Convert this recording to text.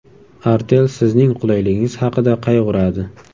Artel sizning qulayligingiz haqida qayg‘uradi.